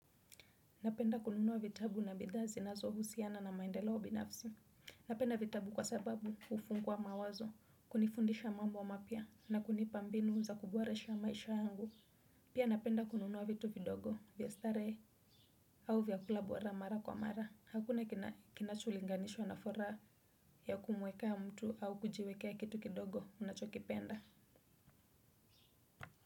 Napenda kununuwa vitabu na bidhaa zinazohusiana na maendeleo binafsi. Napenda vitabu kwa sababu hufungua mawazo, kunifundisha mambo mapya na kunipa mbinu za kuboresha maisha yangu. Pia napenda kununua vitu vidogo, vya starehe, au vyakula bora mara kwa mara. Hakuna kinacholinganishwa na furaha ya kumwekea mtu au kujiwekea kitu kidogo unachokipenda.